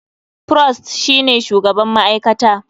Prost shine shugaban ma'aikata.